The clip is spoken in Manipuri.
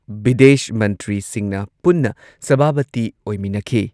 ꯕꯤꯗꯦꯁ ꯃꯟꯇ꯭ꯔꯤꯁꯤꯡꯅ ꯄꯨꯟꯅ ꯁꯚꯥꯄꯇꯤ ꯑꯣꯏꯃꯤꯟꯅꯈꯤ ꯫